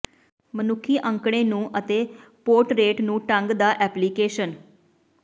ਮਨੁੱਖੀ ਅੰਕੜੇ ਨੂੰ ਅਤੇ ਪੋਰਟਰੇਟ ਨੂੰ ਢੰਗ ਦਾ ਐਪਲੀਕੇਸ਼ਨ